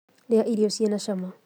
Ruga irio cina cama